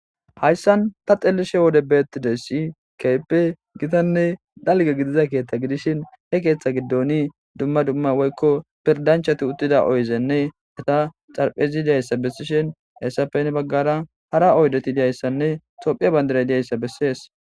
hayssan ta xelishe wode beettide si keype gitanne dalge gidiza keeththa gidishin he keeththa giddoni dumma dumma woykko pirdanchati uttida oyzenne eta xarphezi diyayssa bessishin eessapene baggara hara oydeti diyayssanne tophiya bandira diyayssa bessees